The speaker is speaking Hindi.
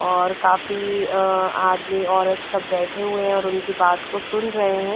और काफी अ आदमी औरत सब बैठे हुए और उनकी बात को सुन रहे हैं।